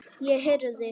Ég heyrði.